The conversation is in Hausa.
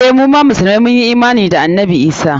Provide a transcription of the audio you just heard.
Eh, musulmai mun yi imana da annabi Isah.